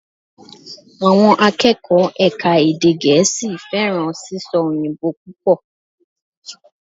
Àwọn akẹ́kọ̀ọ́ ẹ̀ka èdè gẹ̀ẹ́sì fẹ́ràn sísọ òyìnbó púpọ̀